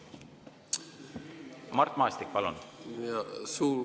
Mart Maastik, palun!